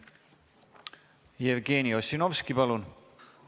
Jevgeni Ossinovski, palun!